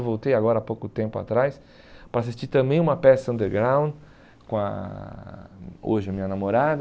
Eu voltei agora, há pouco tempo atrás, para assistir também uma peça underground com a, hoje, a minha namorada.